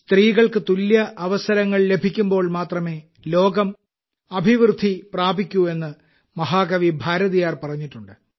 സ്ത്രീകൾക്ക് തുല്യ അവസരങ്ങൾ ലഭിക്കുമ്പോൾ മാത്രമേ ലോകം അഭിവൃദ്ധി പ്രാപിക്കൂ എന്ന് മഹാകവി ഭാരതിയാർ പറഞ്ഞിട്ടുണ്ട്